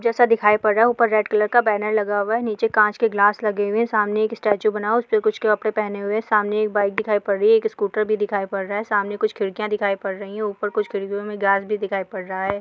जैसा दिखाई पड़ रहा है ऊपर रेड कलर का बेनर लगा हुआ है | नीचे काँच के ग्लास लगे हुये सामने एक स्टेचू बना हुआ है | उसने कुछ कपड़े पहने हुये है सामने एक बाइक दिखाई पड़ रही है | एक स्कूटर भी दिखाई पड़ रहा है | सामने कुछ खिड़कियाँ भी दिखाई पड़ रही ह ऊपर कुछ खिड्कियों में ग्लास भी दिखाई पड रहा है।